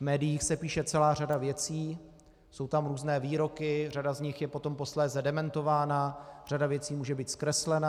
V médiích se píše celá řada věcí, jsou tam různé výroky, řada z nich je potom posléze dementována, řada věcí může být zkreslena.